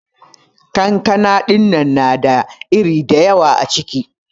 kankana dinnan na da iri dayawa acikin.